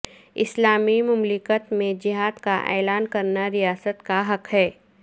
اسلامی مملکت میں جہاد کا اعلان کرنا ریاست کا حق ہے